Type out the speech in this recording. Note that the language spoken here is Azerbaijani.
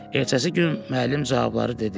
Ertəsi gün müəllim cavabları dedi.